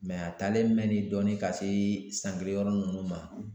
Mɛ a talen mɛ ne dɔɔnin ka se san kelen yɔrɔ nunnu ma